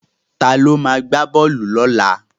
Ta ló ma gbá bọ́ọ̀lù lọ́la?